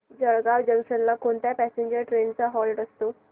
Jalgaon junction ला कोणत्या passenger trains चा हॉल्ट असतो